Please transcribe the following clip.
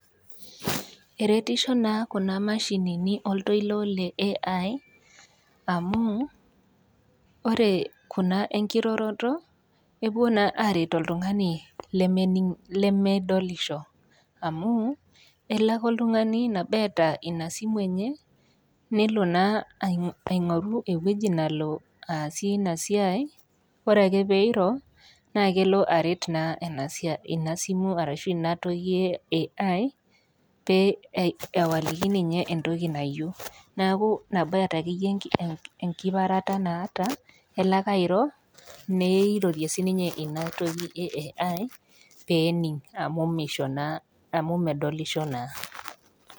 Eretisho na kuna mashinini oltoilo le AI amu ore kuna enkiroroto kepuo na aret oltungani lemedolisho amu elobake oltungani nabo eara inasimu enye nelo na ingoru ewoi nalobaasie inasiai ore ake peiro na kelo aret na inasiai arashubibatoki e AI peoliki ninye entoki nayieu neaku inabae na enkipareta naata elo ake airo neirorie sinye inatoki e AI pening amu misho na amu medolisho na.